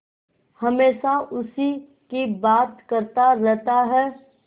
हमेशा उसी की बात करता रहता है